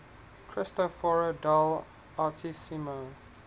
cristoforo del altissimo